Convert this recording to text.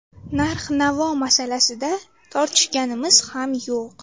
Narx-navo masalasida tortishganimiz ham yo‘q.